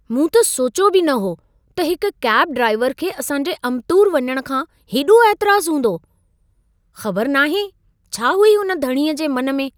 मूं त सोचियो बि न हो त हिक कैब ड्राइवर खे असां जे अम्बतूर वञण खां हेॾो ऐतराज़ हूंदो। ख़बर नाहे छा हुई हुन धणीअ जे मन में।